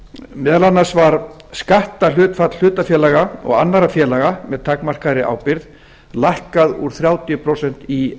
meðal annars var skatthlutfall hlutafélaga og annarra félaga með takmarkaðri ábyrgð lækkað úr þrjátíu prósent í